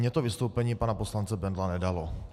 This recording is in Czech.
Mně to vystoupení pana poslance Bendla nedalo.